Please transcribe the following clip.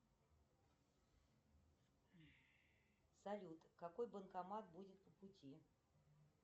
салют какой банкомат будет по пути